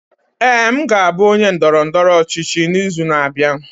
Ee, m ga-abụ onye ndọrọ ndọrọ ọchịchị n'izu na-abịa.